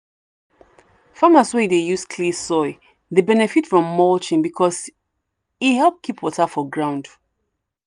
farmers wey dey use clay soil dey benefit from mulching because e help keep water for ground.